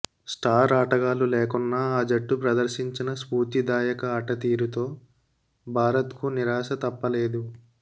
star ఆటగాళ్లు లేకున్నా ఆ జట్టు ప్రదర్శించిన స్ఫూర్తిదాయక ఆటతీరుతో భారత్కు నిరాశ తప్పలేదు